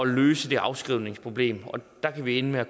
løse det afskrivningsproblem der kan vi ende med at